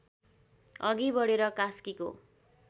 अघि बढेर कास्कीको